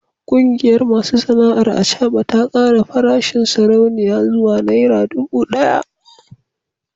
Kungiyar masu sana’ar acaba ta kara farashin sarauniya zuwa naira dubu daya